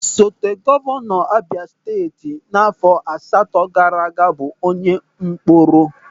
Osote Gọvanọ Abịa Steeti n'áfọ̀ asatọ gaara aga bụ onye Mkporo.